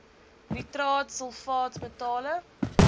nitraat sulfaat metale